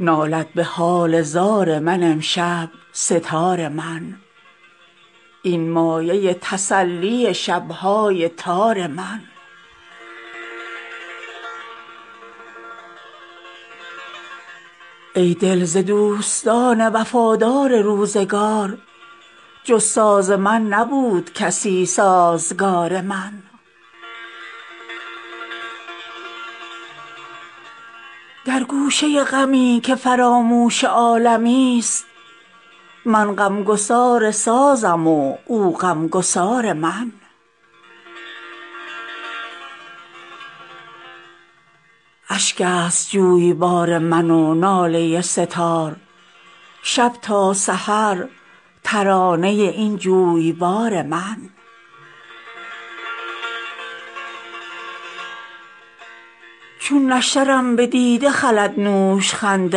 نالد به حال زار من امشب سه تار من این مایه تسلی شب های تار من ای دل ز دوستان وفادار روزگار جز ساز من نبود کسی سازگار من در گوشه غمی که فراموش عالمی است من غمگسار سازم و او غمگسار من اشک است جویبار من و ناله سه تار شب تا سحر ترانه این جویبار من چون نشترم به دیده خلد نوشخند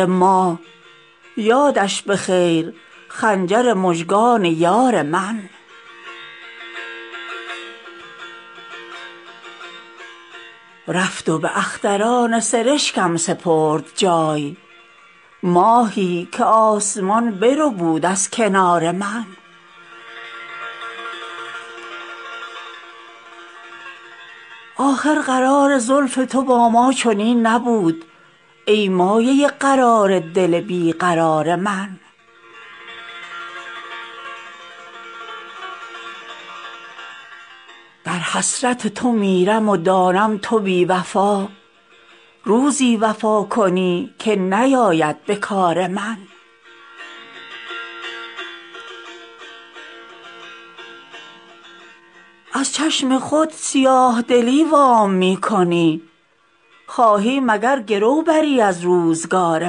ماه یادش به خیر خنجر مژگان یار من رفت و به اختران سرشکم سپرد جای ماهی که آسمان بربود از کنار من آخر قرار زلف تو با ما چنین نبود ای مایه قرار دل بیقرار من در حسرت تو میرم و دانم تو بی وفا روزی وفا کنی که نیاید به کار من از چشم خود سیاه دلی وام می کنی خواهی مگر گرو بری از روزگار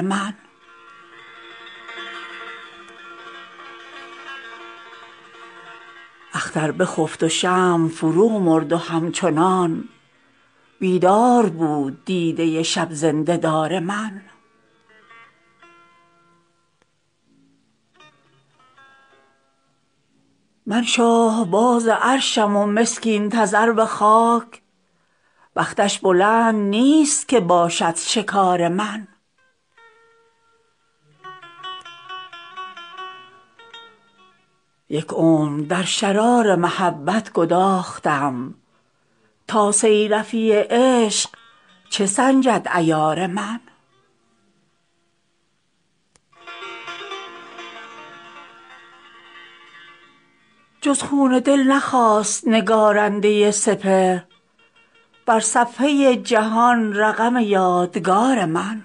من اختر بخفت و شمع فرو مرد و همچنان بیدار بود دیده شب زنده دار من من شاهباز عرشم و مسکین تذرو خاک بختش بلند نیست که باشد شکار من یک عمر در شرار محبت گداختم تا صیرفی عشق چه سنجد عیار من جز خون دل نخواست نگارنده سپهر بر صفحه جهان رقم یادگار من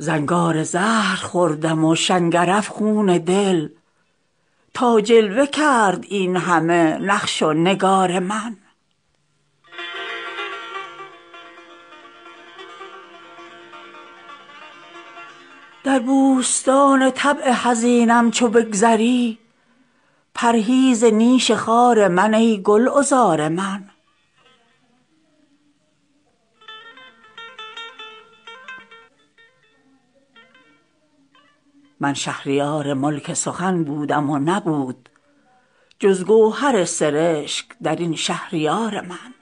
زنگار زهر خوردم و شنگرف خون دل تا جلوه کرد این همه نقش و نگار من در بوستان طبع حزینم چو بگذری پرهیز نیش خار من ای گلعذار من من شهریار ملک سخن بودم و نبود جز گوهر سرشک در این شهر یار من